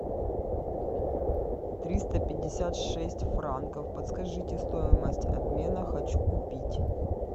триста пятьдесят шесть франков подскажите стоимость обмена хочу купить